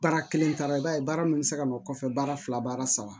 Baara kelen taara i b'a ye baara min bɛ se ka nɔ kɔfɛ baara fila baara saba